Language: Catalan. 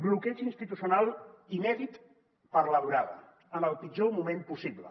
bloqueig institucional inèdit per la durada en el pitjor moment possible